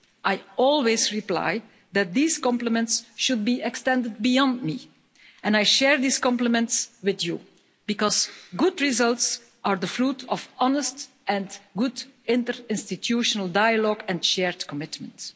I always reply that these compliments should be extended beyond me, and I share these complements with you, because good results are the fruit of honest and good interinstitutional dialogue and shared commitments.